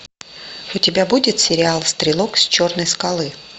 у тебя будет сериал стрелок с черной скалы